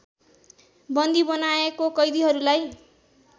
बन्दी बनाएको कैदिहरूलाई